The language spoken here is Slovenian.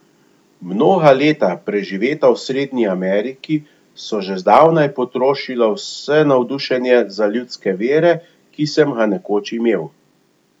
Mnoga leta, preživeta v Srednji Ameriki, so že zdavnaj potrošila vse navdušenje za ljudske vere, ki sem ga nekoč imel.